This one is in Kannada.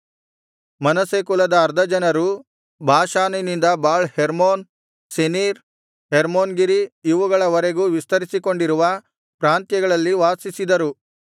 ಮನಸ್ಸೆ ಕುಲದ ಅರ್ಧಜನರು ಬಾಷಾನಿನಿಂದ ಬಾಳ್ ಹೆರ್ಮೋನ್ ಸೆನೀರ್ ಹೆರ್ಮೋನ್ ಗಿರಿ ಇವುಗಳ ವರೆಗೂ ವಿಸ್ತರಿಸಿಕೊಂಡಿರುವ ಪ್ರಾಂತ್ಯಗಳಲ್ಲಿ ವಾಸಿಸಿದರು